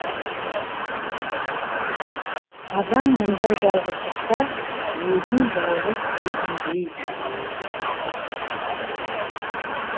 адам мұндай жалғыздықта өзін жалғыз сезінбейді